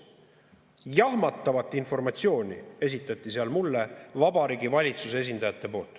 Jahmatavat informatsiooni esitasid seal mulle Vabariigi Valitsuse esindajad.